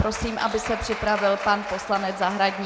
Prosím, aby se připravil pan poslanec Zahradník.